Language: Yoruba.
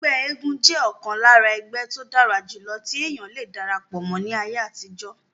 ẹgbẹ́ eégún jẹ́ ọ̀kan lára ẹgbẹ́ tó dára jù tí èèyàn le darapọ̀ mọ́ ní ayé àtijọ́